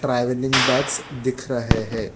आदमीन बैग्स दिख रहे है।